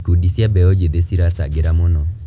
Ikundi cia mbeũ njĩthĩ ciracangĩra mũno.